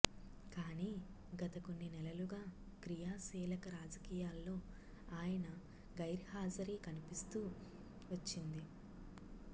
కానీ గత కొన్ని నెలలుగా క్రియాశీలక రాజకీయాల్లో ఆయన గైర్హాజరీ కనిపిస్తూ వచ్చింది